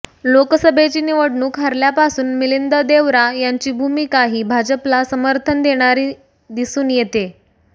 लोकसभेची निवडणूक हरल्यापासून मिलिंद देवरा यांची भूमिका ही भाजपला समर्थन देणारी दिसून येतेय